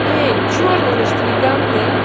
эй чёрный значит элегантный